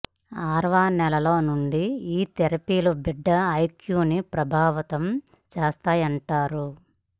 ఆరవ నెలలో నుండి ఈ థెరపీలు బిడ్డ ఐక్యూని ప్రభావితం చేస్తాయంటారు